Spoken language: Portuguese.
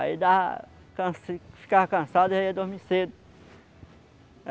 Aí dava ficava cansado, já ia dormir cedo.